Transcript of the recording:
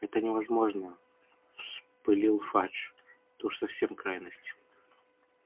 это невозможно вспылил фадж это уж совсем крайность